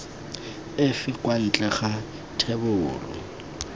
efe kwa ntle ga thebolo